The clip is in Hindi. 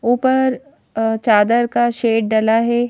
ऊपर चादर का शेड डला है।